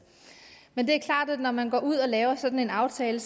men det er klart at når man går ud og laver sådan en aftale